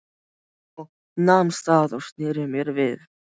Ég nam staðar og sneri mér við.